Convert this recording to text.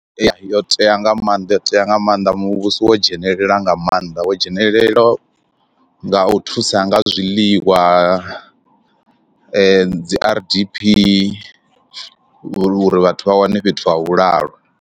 Yo tea nga maanḓa yo tea nga maanḓa muvhuso wo dzhenelela nga maanḓa wo dzhenelele nga u thusa nga zwiḽiwa dzi R_D_P uri vhathu vha wane fhethu ha vhulalo.